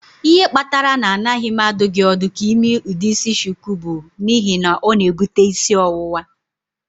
Ihe kpatara na anaghị m adụ gị ọdụ ka ị mee ụdị isi shuku bụ n'ihi na ọ na-ebute isi ọwụwa.